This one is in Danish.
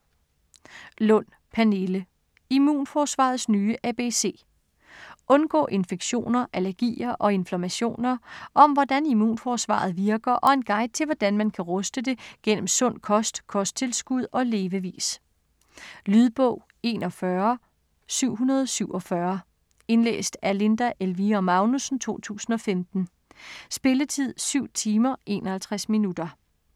Lund, Pernille: Immunforsvarets nye ABC Undgå infektioner, allergier og inflammationer. Om hvordan immunforsvaret virker og en guide til hvordan man kan ruste det gennem sund kost, kosttilskud og levevis. Lydbog 41747 Indlæst af Linda Elvira Magnussen, 2015. Spilletid: 7 timer, 51 minutter.